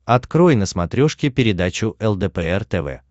открой на смотрешке передачу лдпр тв